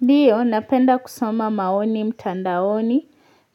Ndio napenda kusoma maoni mtandaoni